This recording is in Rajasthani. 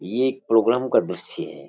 ये एक प्रोग्राम का दर्शय है।